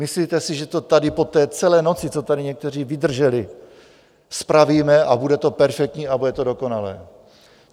Myslíte si, že to tady po té celé noci, co tady někteří vydrželi, spravíme a bude to perfektní a bude to dokonalé.